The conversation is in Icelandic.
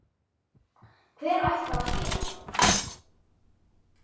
Hver ætli það sé?